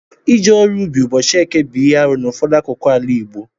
Ije ọrụ ubi ụbọchị eke bu ihe arụ n'ụfọdụ akụkụ ala Igbo.